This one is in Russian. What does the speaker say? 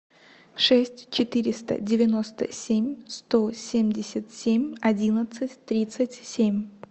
шесть четыреста девяносто семь сто семьдесят семь одиннадцать тридцать семь